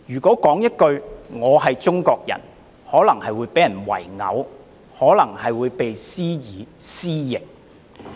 說句"我是中國人"也可能被人圍毆，施以"私刑"......